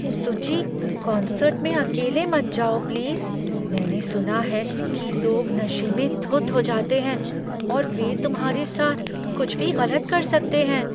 सुची, कन्सर्ट में अकेले मत जाओ प्लीज़। मैंने सुना है कि लोग नशे में धुत हो जाते हैं और वे तुम्हारे साथ कुछ भी गलत कर सकते हैं।